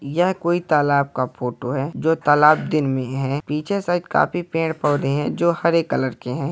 यह कोई तालाब का फोटो है जो तालाब दिन में है पीछे साइड काफी पेड़-पौधे हैं जो हरे कलर के हैं।